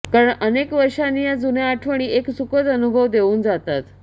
कारण अनेक वर्षांनी या जुन्या आठवणी एक सुखद अनुभव देऊन जातात